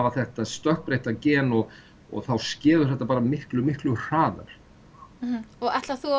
þetta stökkbreytta gen þá skeður þetta miklu miklu hraðar ætlarðu að